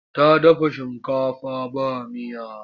Ta dafa shinkafa ba miya.